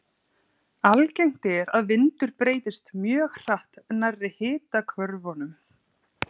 Algengt er að vindur breytist mjög hratt nærri hitahvörfunum.